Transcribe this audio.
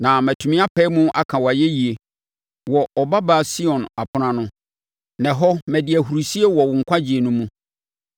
na matumi apae mu aka wʼayɛyie wɔ Ɔbabaa Sion apono ano na ɛhɔ, madi ahurisie wɔ wo nkwagyeɛ no mu.